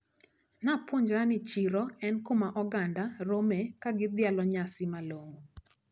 Napuonjra ni chiro en kuma oganda rome kagidhialo nyasi malong`o.